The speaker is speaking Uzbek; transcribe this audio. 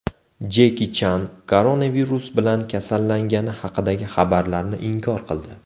Jeki Chan koronavirus bilan kasallangani haqidagi xabarlarni inkor qildi.